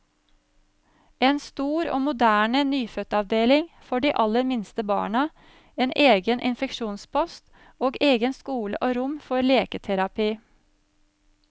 En stor og moderne nyfødtavdeling for de aller minste barna, en egen infeksjonspost, og egen skole og rom for leketerapi.